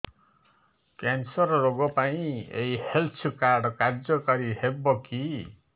cancer ରୋଗ ପାଇଁ ଏଇ ହେଲ୍ଥ କାର୍ଡ କାର୍ଯ୍ୟକାରି ହେବ କି